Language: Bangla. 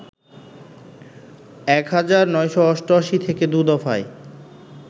১৯৮৮ থেকে দু দফায়